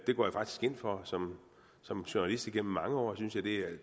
det går jeg faktisk ind for som som journalist igennem mange år synes jeg det er